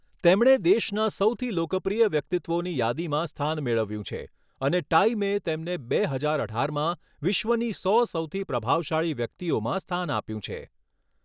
તેમણે દેશના સૌથી લોકપ્રિય વ્યક્તિત્વોની યાદીમાં સ્થાન મેળવ્યું છે અને ટાઈમે તેમને બે હજાર અઢારમાં વિશ્વની સો સૌથી પ્રભાવશાળી વ્યક્તિઓમાં સ્થાન આપ્યું છે.